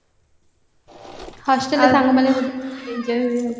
hostelରେ ସାଙ୍ଗ ମାନଙ୍କ ସହିତ ଭଲ enjoy ହୁଏ ଆଉ